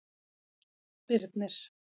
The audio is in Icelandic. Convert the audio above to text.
Birnir